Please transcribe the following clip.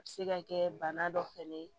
A bɛ se ka kɛ bana dɔ fɛnɛ ye